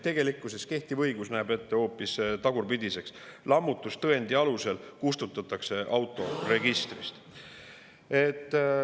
Tegelikkuses kehtiv õigus näeb ette hoopis tagurpidi, et lammutustõendi alusel kustutatakse autoregistrist.